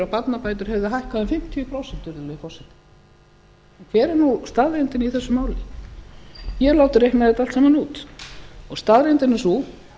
barnabætur hefðu hækkað um fimmtíu prósent virðulegi forseti hver er nú staðreyndin í þessu máli ég hef látið reikna þetta allt saman út staðreyndin er sú